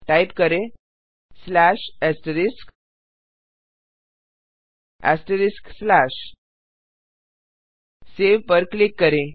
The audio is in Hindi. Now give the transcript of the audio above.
टाइप करें सेव पर क्लिक करें